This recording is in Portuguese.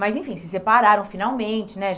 Mas, enfim, se separaram finalmente, né?